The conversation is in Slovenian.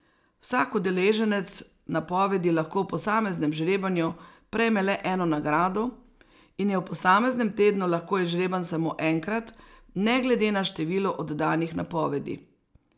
Vsak udeleženec napovedi lahko v posameznem žrebanju prejme le eno nagrado in je v posameznem tednu lahko izžreban samo enkrat ne glede na število oddanih napovedi.